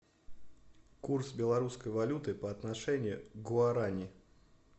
курс белорусской валюты по отношению к гуарани